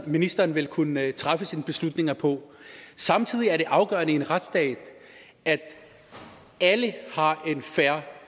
ministeren vil kunne træffe sine beslutninger på samtidig er det afgørende i en retsstat at alle har en fair